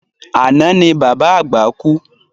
Àná ni bàbá àgbà kú